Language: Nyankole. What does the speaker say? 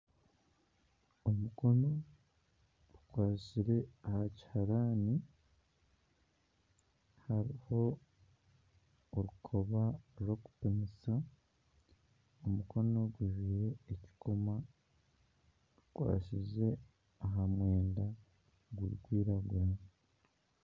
Omukono gukwatsire aha kiharani hariho orukoba rw'okupimisa, omukono gujwire ekikomo, gukwatsire aha mwenda gurikwiragura